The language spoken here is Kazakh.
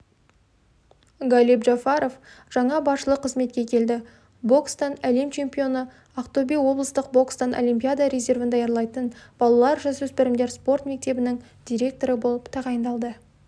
галиб джафаров жаңа басшылық қызметке келді бокстан әлем чемпионы ақтөбе облыстық бокстан олимпиада резервін даярлайтын балалар-жасөспірімдер спорт мектебінің директоры болып тағайындалды